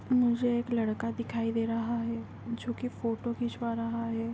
मुझे एक लड़का दिखाई दे रहा है जोकि फोटो खिचवा रहा है.